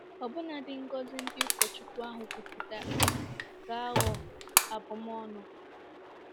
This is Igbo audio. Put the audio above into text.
Ọbụnadi ngọzi ndị ụkọchukwu ahụ kwupụtara ga-aghọ abụm ọnụ.